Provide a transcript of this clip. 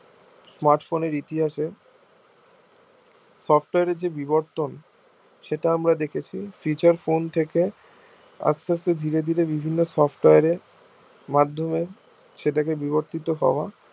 smart phone এর ইতিহাসে software একটি বিবর্তন সেটা আমরা দেখেছি feature phone থেকে আস্তে আস্তে শিরে শিরে বিভিন্ন software এর মাধ্যমে সেটা কে বিবর্তিত হওয়া